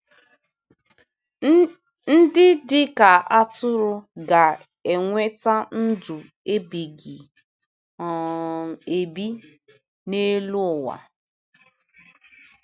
Ndị dị ka atụrụ ga-enweta ndụ ebighị um ebi n’elu ụwa